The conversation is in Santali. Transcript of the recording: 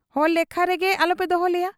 ᱦᱚᱲ ᱞᱮᱠᱷᱟ ᱨᱮᱜᱮ ᱟᱞᱚᱯᱮ ᱫᱚᱦᱚ ᱞᱮᱭᱟ ᱾